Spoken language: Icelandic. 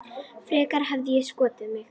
Frekar hefði ég skotið mig.